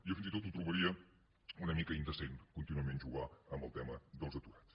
jo fins i tot ho trobaria una mica indecent contínuament jugar amb el tema dels aturats